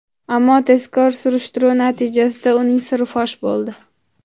Ammo tezkor surishtiruv natijasida uning siri fosh bo‘ldi.